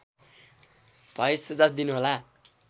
भए सुझाव दिनुहोला